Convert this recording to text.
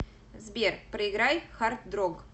сбер проиграй хардрог